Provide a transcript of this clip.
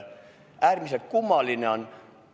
Äärmiselt kummaline on.